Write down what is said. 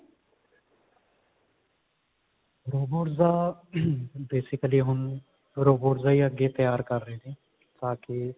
robots ਦਾ basically ਹੁਣ robots ਦਾ ਹੀ ਅੱਗੇ ਤਿਆਰ ਕਰ ਰਹੇ ਨੇ ਕਿਉਂਕਿ